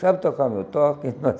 Sabe tocar meu toque?